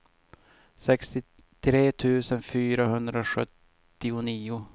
sextiotre tusen fyrahundrasjuttionio